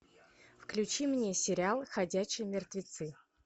включи мне сериал ходячие мертвецы